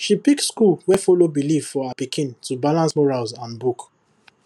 she pick school wey follow belief for her pikin to balance morals and book